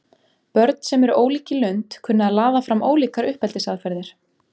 Börn sem eru ólík í lund kunna að laða fram ólíkar uppeldisaðferðir.